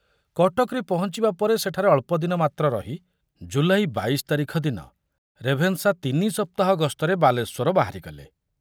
କଟକରେ ପହଞ୍ଚିବା ପରେ ସେଠାରେ ଅଳ୍ପଦିନ ମାତ୍ର ରହି ଜୁଲାଇ ବାଇଶ ତାରିଖ ଦିନ ରେଭେନ୍ସା ତିନି ସପ୍ତାହ ଗସ୍ତରେ ବାଲେଶ୍ୱର ବାହାରିଗଲେ।